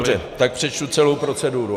Dobře, tak přečtu celou proceduru.